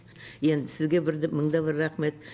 енді сізге бір де мыңда бір рахмет